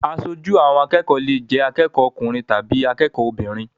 Aṣojú àwọn akẹ́kọ̀ọ́ lè jẹ́ akẹ́kọ̀ọ́ ọkùnrin tàbí akẹ́kọ̀ọ́ obìnrin.